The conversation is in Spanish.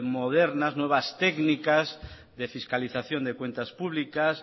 modernas nuevas técnicas de fiscalización de cuentas públicas